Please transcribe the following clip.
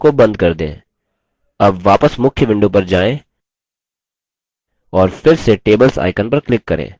अब वापस मुख्य window पर जाएँ और फिर से tables icon पर click करें